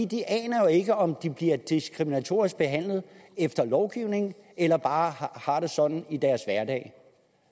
de aner jo ikke om de bliver diskriminatorisk behandlet efter lovgivningen eller bare har det sådan i deres hverdag